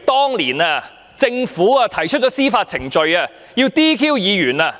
當年，政府提出司法程序來取消議員的資格，